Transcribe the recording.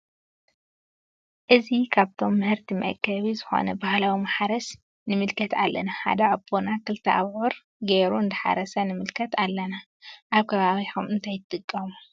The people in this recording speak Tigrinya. እዚ ካብቶም ምህርቲ መአከቢ ዝኮነ ባህላዊ ማሕረስ ንምልከት ኣለና ሓደ አቦና ክልተ ኣቡዑር ገየሩ እንዳሓረሰ ንመልከት ኣለና። ኣብ ከባቢኩምከ እንታይ ትጥቀሙ?